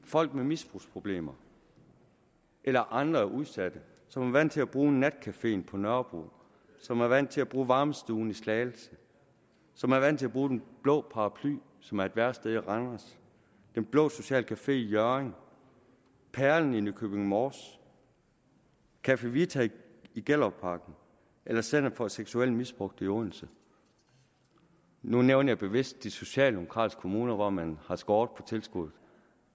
folk med misbrugsproblemer eller andre udsatte som er vant til at bruge natcaféen på nørrebro som er vant til at bruge varmestuen i slagelse som er vant til at bruge den blå paraply som er et værested i randers den blå sociale café i hjørring perlen i nykøbing mors café vita i gellerupparken eller center for seksuelt misbrugte i odense nu nævner jeg bevidst de socialdemokratiske kommuner hvor man har skåret ned tilskuddet